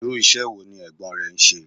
Irú ìṣe wo ní Ẹ̀gbọ́n ẹ ń ṣe?